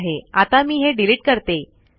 ठीक आहे आता मी हे डीलीट करते